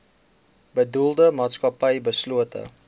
bedoelde maatskappy beslote